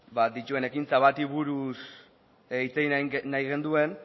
dituen ekintza bati buruz hitz egin nahi genuen